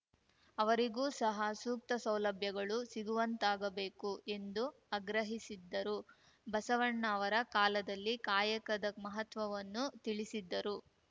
ಅವರಿಗೂ ಸಹ ಸೂಕ್ತ ಸೌಲಭ್ಯಗಳು ಸಿಗುವಂತಾಗಬೇಕು ಎಂದು ಅಗ್ರಹಿಸಿದರು ಬಸವಣ್ಣ ಅವರ ಕಾಲದಲ್ಲಿ ಕಾಯಕದ ಮಹತ್ವವನ್ನು ತಿಳಿಸಿದ್ದರು